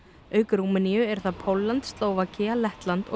auk Rúmeníu eru það Pólland Slóvakía Lettland og